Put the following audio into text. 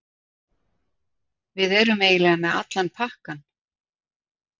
Við erum eiginlega með allan pakkann